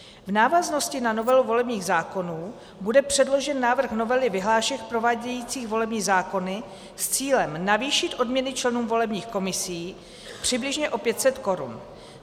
V návaznosti na novelu volebních zákonů bude předložen návrh novely vyhlášek provádějících volební zákony s cílem navýšit odměny členům volebních komisí přibližně o 500 korun.